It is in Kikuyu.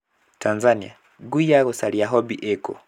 Tanzania:ngui ya gũcaria 'Hobby' ĩkũ?